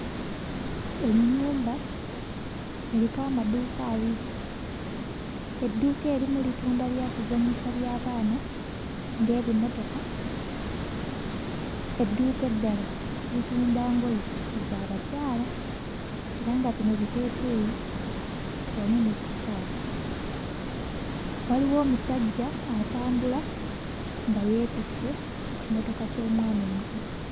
Ennyumba eriko amaduuka abiri, edduuka erimu litunda byakuzannyisa by'abaana ng'ebimotoka, edduuka eddala litunda ngoye za bakyala era nga bino biteeteeyi wamu ne sikaati, waliwo omusajja atambula nga yeetisse ekimotoka ky'omwana omuto.